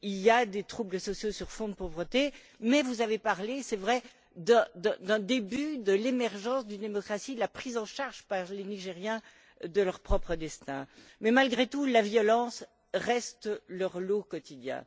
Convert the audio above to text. Il y a des troubles sociaux sur fond de pauvreté, mais vous avez parlé c'est vrai d'un début d'émergence d'une démocratie, de prise en charge par les Nigérians de leur propre destin. Malgré tout, la violence reste leur lot quotidien.